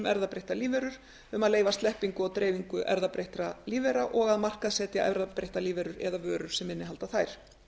erfðabreyttar lífverur um að leyfa sleppingu og dreifingu erfðabreyttra lífvera og að markaðssetja erfðabreyttar lífverur eða vörur sem innihalda þær